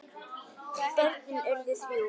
Börnin urðu þrjú.